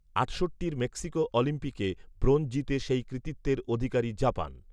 আটষট্টির Mexico অলিম্পিকে bronze জিতে সেই কৃতিত্বের অধিকারী জাপান